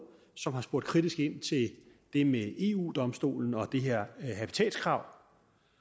som har spurgt kritisk ind til det med eu domstolen og det her habitatskrav